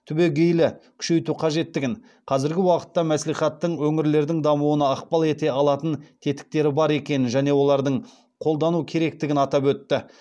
түбегейлі күшейту қажеттігін қазіргі уақытта мәслихаттың өңірлердің дамуына ықпал ете алатын тетіктері бар екенін және оларды қолдану керектігін атап өтті